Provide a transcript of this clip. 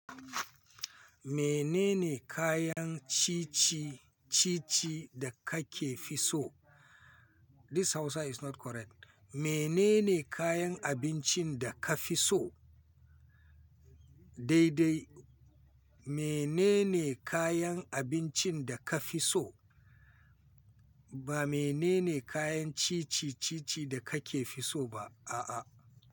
Menene kayan cici cici da kake fiso? This Hausa is not correct. Menene kayan abincin da ka fitso? Daidai. Menene kayan abincin da ka fitso? Ba menene kayan cici cici da kake fitso ba, a'a.